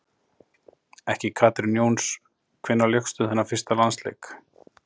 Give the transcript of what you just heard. Ekki Katrín Jóns Hvenær lékstu þinn fyrsta landsleik?